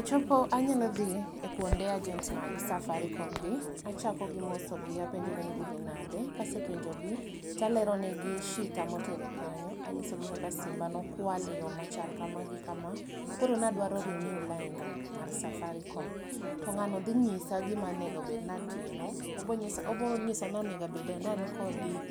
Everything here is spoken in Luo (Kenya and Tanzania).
Achopo, anyalo dhi e kuonde agent mag Safaricom gi achako gi moso gi apenjogi ni gidhi nade, kasepenjogi to alero negi shita motera kanyo, anyisogi kaka simba ne okwal e yo ma chal gi kama gi kama koro nadwaro renew lainda mar Safaricom. To ngano dhi nyisa gima onego obed ni atimo, obo nyisa ni onego abed ni an gi